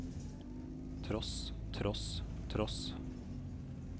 tross tross tross